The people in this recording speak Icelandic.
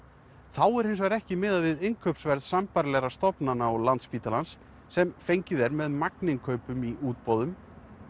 þá er hins vegar ekki miðað við innkaupsverð sambærilegra stofnana og Landspítalans sem fengið er með magninnkaupum í útboðum